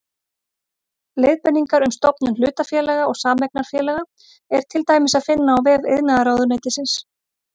Leiðbeiningar um stofnun hlutafélaga og sameignarfélaga er til dæmis að finna á vef iðnaðarráðuneytisins.